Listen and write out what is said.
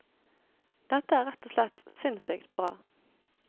Dette er rett og slett sinnssykt bra.